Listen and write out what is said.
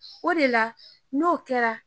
O de la n'o kɛra